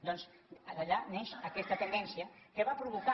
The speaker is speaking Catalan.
doncs d’allà neix aquesta tendència que va provocar